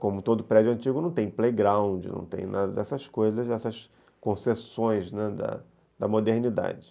Como todo prédio antigo, não tem playground, não tem nada dessas coisas, dessas concessões, né, da modernidade.